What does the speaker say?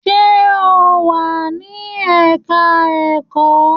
Sé o wà ní ẹ̀ka-ẹ̀kọ́?